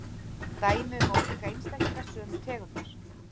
Dæmi um ólíka einstaklinga sömu tegundar.